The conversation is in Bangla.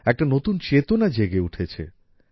একটি নতুন চেতনা জেগে উঠেছে